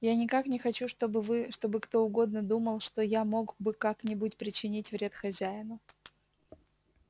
я никак не хочу чтобы вы чтобы кто угодно думал что я мог бы как-нибудь причинить вред хозяину